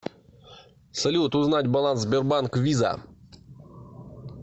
салют узнать баланс сбербанк виза